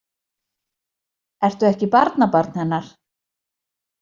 Ertu ekki barnabarn hennar?